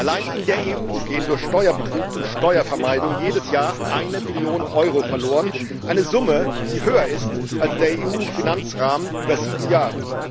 Allein in der EU geht durch Steuerbetrug und Steuervermeidung jedes Jahr eine Billion Euro verloren eine Summe, die höher ist als der EU Finanzrahmen über sieben Jahre.